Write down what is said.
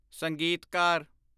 ਸੰਗੀਤਕਾਰ